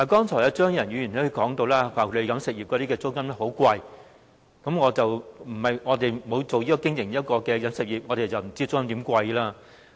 張宇人議員剛才提到飲食業的租金非常昂貴，我們並非經營飲食業，不知道其租金有多昂貴。